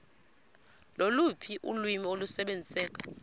loluphi ulwimi olusebenziseka